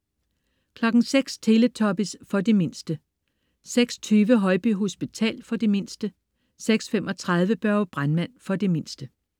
06.00 Teletubbies. For de mindste 06.20 Højby hospital. Film for de mindste 06.35 Børge brandmand. For de mindste